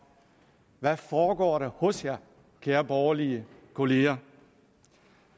hvad foregår der hos jer kære borgerlige kollegaer